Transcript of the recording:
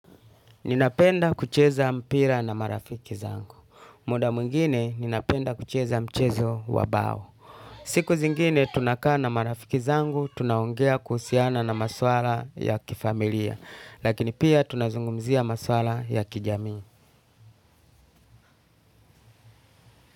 Ninapenda kucheza mpira na marafiki zangu. Muda mwingine ninapenda kucheza mchezo wa bao. Siku zingine tunakaa na marafiki zangu, tunaongea kuhusiana na maswala ya kifamilia. Lakini pia tunazungumzia maswala ya kijamii.